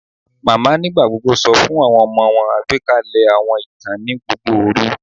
Mama nigbagbogbo sọ fun awọn ọmọ wọn agbekalẹ awọn itan ni gbogbo oru